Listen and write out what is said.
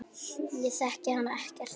Ég þekki hana ekkert.